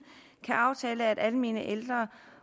kan aftale at almene ældre